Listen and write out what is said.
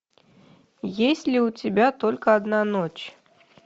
есть ли у тебя только одна ночь